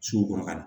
Sugu kɔrɔ ka na